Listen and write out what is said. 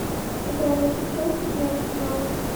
игра между челси и арсеналом